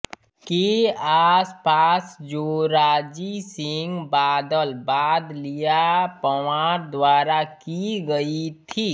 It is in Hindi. के आसपास जोराजी सिंह बादल बादलिया पंवार द्वारा की गई थी